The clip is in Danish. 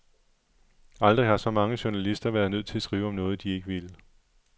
Aldrig har så mange journalister været nødt til at skrive om noget, de ikke ville.